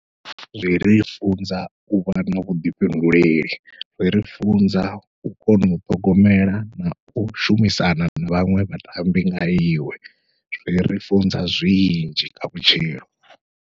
Zwiri funza uvha na vhuḓifhinduleli, zwiri funza u kona u ṱhogomela nau shumisana na vhaṅwe vhatambi nga iwe, zwiri funza zwinzhi kha vhutshilo.